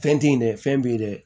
Fɛn te yen dɛ fɛn b'i ye dɛ